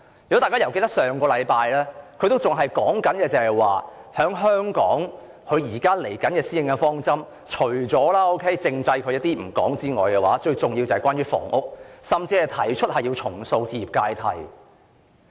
如果大家記得，上星期她仍然表示，她對香港的施政方針——撇開政制不談——最重要的是關於房屋，甚至提出要重塑置業階梯。